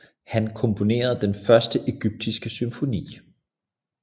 Han komponerede den første egyptiske symfoni